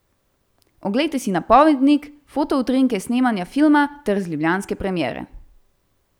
Oglejte si napovednik, fotoutrinke s snemanja filma ter z ljubljanske premiere!